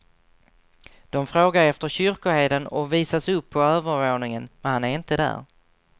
De frågar efter kyrkoherden och visas upp på övervåningen, men han är inte där.